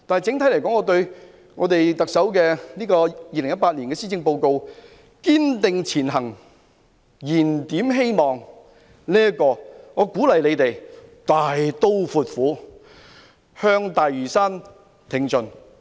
整體而言，就特首2018年題為"堅定前行燃點希望"的施政報告，我鼓勵政府大刀闊斧，向大嶼山挺進。